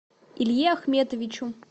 илье ахметовичу